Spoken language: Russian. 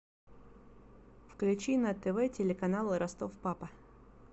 включи на тв телеканал ростов папа